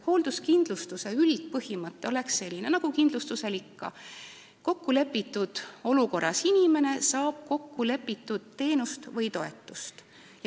Hoolduskindlustuse üldpõhimõte on selline nagu kindlustusel ikka: kokkulepitud olukorras olev inimene saab kokkulepitud teenust või toetust.